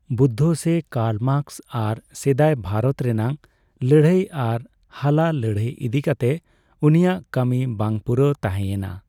ᱵᱩᱫᱽᱫᱷᱚ ᱥᱮ Karl Marx ᱟᱨ ᱥᱮᱫᱟᱭ ᱵᱷᱟᱨᱚᱛ ᱨᱮᱱᱟᱜ ᱞᱟᱹᱲᱦᱟᱹᱭ ᱟᱨ ᱦᱟᱞᱟ ᱞᱟᱹᱲᱦᱟᱹᱭ ᱤᱫᱤ ᱠᱟᱛᱮ ᱩᱱᱤᱭᱟᱜ ᱠᱟᱹᱢᱤ ᱵᱟᱝ ᱯᱩᱨᱟᱹᱣ ᱛᱟᱦᱮᱸᱭᱮᱱᱟ ᱾